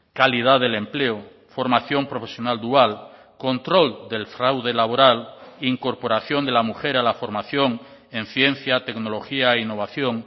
calidad del empleo formación profesional dual control del fraude laboral incorporación de la mujer a la formación en ciencia tecnología e innovación